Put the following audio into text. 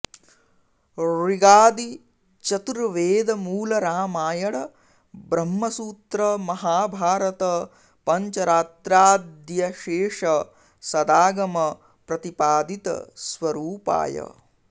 ऋगादि चतुर्वेद मूल रामायण ब्रह्मसूत्र महाभारत पञ्चरात्राद्यशेष सदागम प्रतिपादित स्वरूपाय